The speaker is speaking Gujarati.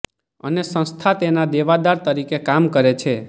અને સંસ્થા તેના દેવાદાર તરીકે કામ કરે છે